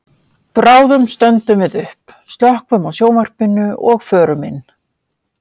Bráðum stöndum við upp, slökkvum á sjónvarpinu og förum inn.